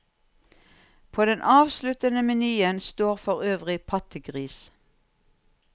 På den avsluttende menyen står forøvrig pattegris.